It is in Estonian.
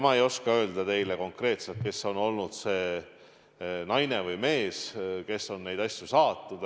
Ma ei oska öelda teile konkreetselt, kes on olnud see naine või mees, kes on neid asju saatnud.